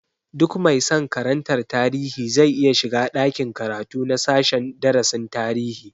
Duk mai san karantar tarihi zai iya shiga ɗakin karatu na sashen darasin tarihi